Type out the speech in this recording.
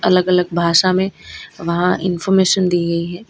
अलग अलग भाषा में वहां इनफार्मेशन दी गई है।